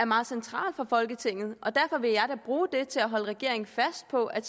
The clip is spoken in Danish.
meget centralt for folketinget og derfor vil jeg da bruge det til at holde regeringen fast på at